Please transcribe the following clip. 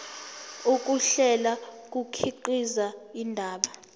ukuhlela kukhiqiza indaba